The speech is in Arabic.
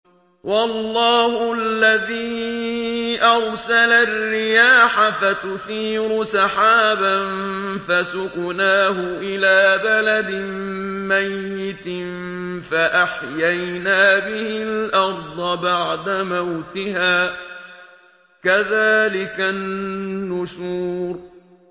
وَاللَّهُ الَّذِي أَرْسَلَ الرِّيَاحَ فَتُثِيرُ سَحَابًا فَسُقْنَاهُ إِلَىٰ بَلَدٍ مَّيِّتٍ فَأَحْيَيْنَا بِهِ الْأَرْضَ بَعْدَ مَوْتِهَا ۚ كَذَٰلِكَ النُّشُورُ